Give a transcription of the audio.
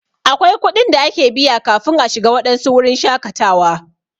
Akwai kuɗin da ake biya kafin a shiga waɗansu wurin shakatawa.